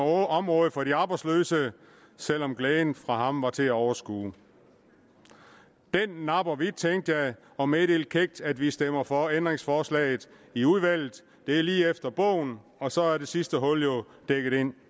området for de arbejdsløse selv om glæden fra ham var til at overskue den napper vi tænkte jeg og meddelte kækt at vi stemmer for ændringsforslaget i udvalget det er lige efter bogen og så er det sidste hul jo dækket men